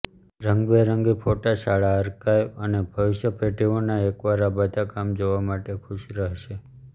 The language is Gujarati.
રંગબેરંગી ફોટા શાળા આર્કાઇવ અને ભવિષ્ય પેઢીઓના એકવાર આ બધા કામ જોવા માટે ખુશ રહેશે